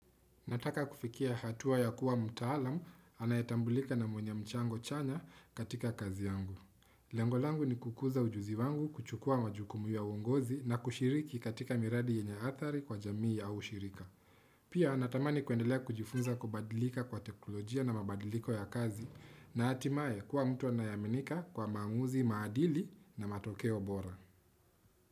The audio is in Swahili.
Nataka kufikia hatua ya kuwa mtaalamu anayetambulika na mwenye mchango chanya katika kazi yangu. Lengo langu ni kukuza ujuzi wangu kuchukua majukumu ya uongozi na kushiriki katika miradi yenye athari kwa jamii au shirika. Pia natamani kuendelea kujifunza kubadilika kwa teknolojia na mabadiliko ya kazi na hatimaye kuwa mtu anayeaminika kwa maamuzi maadili na matokeo bora.